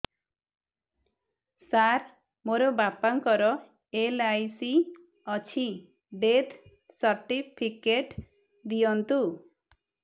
ସାର ମୋର ବାପା ଙ୍କର ଏଲ.ଆଇ.ସି ଅଛି ଡେଥ ସର୍ଟିଫିକେଟ ଦିଅନ୍ତୁ